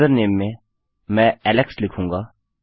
username में मैं Alex लिखूँगा